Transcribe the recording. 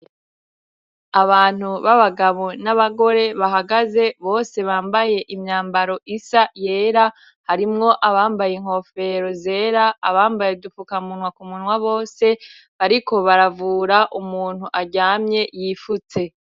Abantu b'abagabo n'abagore bahagaze bose bambaye imyambaro isa yera harimwo abambaye inkofero zera abambaye udufukamunwa ku munwa bose bariko baravura umuntu aryamye yifutse.